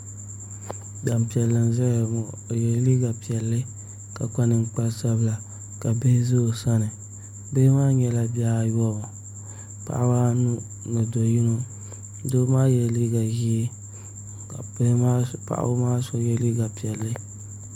Gbanpiɛli n ʒɛya ŋɔ o yɛla liiga piɛlli ka kpa ninkpari sanila ka bihi ʒɛ o sani bihi maa nyɛla bihi ayobu paɣaba anu ni do yino Doo maa yɛla liiga ʒiɛ ka paɣaba maa so yɛ liiga piɛlli